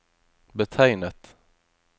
betegnet